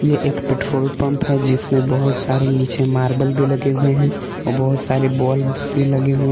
ये एक petrol pump है जिसमें बहोत सारे नीचे मार्बल भी लगे हुए हैं बहोत सारे बल्ब भी लगे हुए --